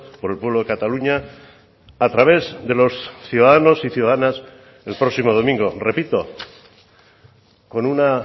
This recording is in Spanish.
por el pueblo de cataluña a través de los ciudadanos y ciudadanas el próximo domingo repito con una